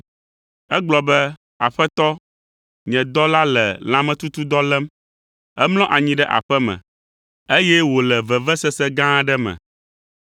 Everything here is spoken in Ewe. Egblɔ be, “Aƒetɔ, nye dɔla le lãmetutudɔ lém, emlɔ anyi ɖe aƒe me, eye wòle vevesese gã aɖe me.”